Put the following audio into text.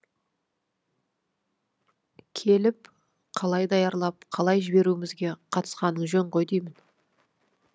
келіп қалай даярлап қалай жіберуімізге қатысқаның жөн ғой деймін